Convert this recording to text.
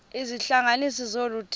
izihlanganisi zolu didi